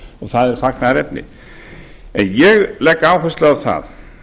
það er fagnaðarefni en ég legg áherslu á það